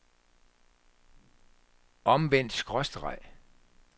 omvendt skråstreg